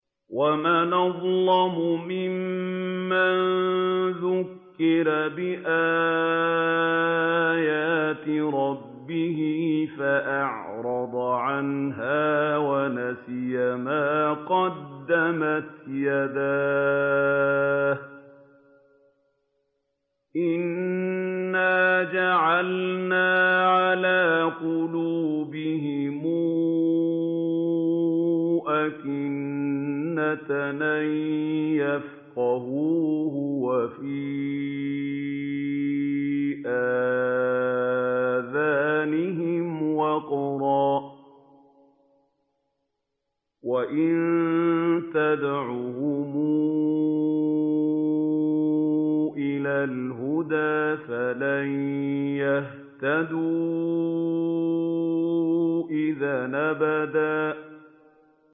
وَمَنْ أَظْلَمُ مِمَّن ذُكِّرَ بِآيَاتِ رَبِّهِ فَأَعْرَضَ عَنْهَا وَنَسِيَ مَا قَدَّمَتْ يَدَاهُ ۚ إِنَّا جَعَلْنَا عَلَىٰ قُلُوبِهِمْ أَكِنَّةً أَن يَفْقَهُوهُ وَفِي آذَانِهِمْ وَقْرًا ۖ وَإِن تَدْعُهُمْ إِلَى الْهُدَىٰ فَلَن يَهْتَدُوا إِذًا أَبَدًا